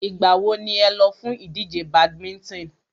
Ìgbà wo ni ẹ lọ fún ìdíje badminton?